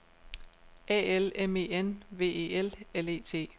A L M E N V E L L E T